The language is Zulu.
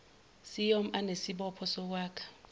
ciom anesibopho sokwakha